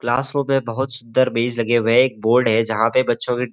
class room में बहुत सुंदर मेज लगे हुए हैं एक बोर्ड है जहाँ पे बच्चों के --